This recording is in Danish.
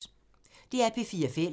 DR P4 Fælles